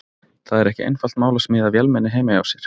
Það er ekki einfalt mál að smíða vélmenni heima hjá sér.